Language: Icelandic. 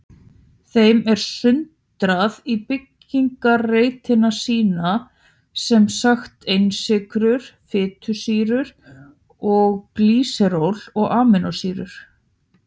Þeim er sundrað í byggingareiningar sínar, sem sagt einsykrur, fitusýrur og glýseról og amínósýrur.